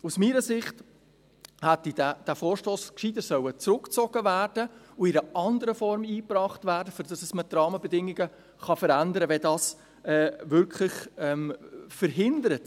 Aus meiner Sicht hätte dieser Vorstoss besser zurückgezogen und in einer anderen Form eingebracht werden sollen, damit man die Rahmenbedingungen verändern kann, wenn dies die guten Ideen wirklich verhindert.